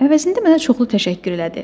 Əvəzində mənə çoxlu təşəkkür elədi.